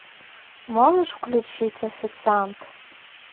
можешь включить официант